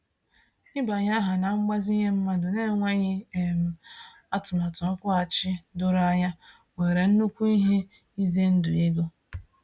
Ịbanye aha na mgbazinye mmadụ n'enweghị um atụmatụ nkwughachi doro anya nwere nnukwu ihe ize ndụ ego.